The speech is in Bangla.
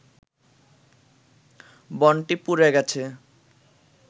বনটি পুড়ে গেছে